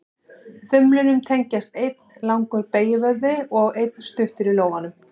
Þumlinum tengjast einn langur beygjuvöðvi og einn stuttur í lófanum.